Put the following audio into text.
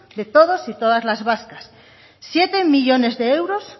de todos y todas las vascas siete millónes de euros